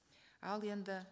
ал енді